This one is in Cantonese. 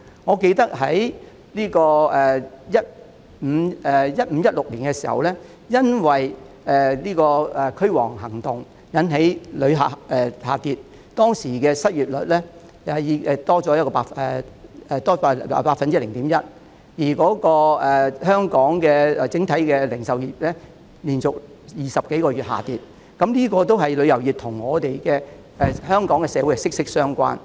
我記得在 2015-2016 年度時，曾因"驅蝗行動"而引致旅客人數下跌，當時的失業率上升了 0.1%， 而香港整體零售業的業績亦連續20多個月下跌，旅遊業與香港社會是息息相關的。